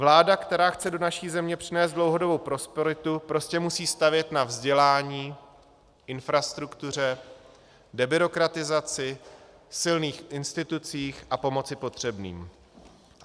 Vláda, která chce do naší země přinést dlouhodobou prosperitu, prostě musí stavět na vzdělání, infrastruktuře, debyrokratizaci, silných institucích a pomoci potřebným.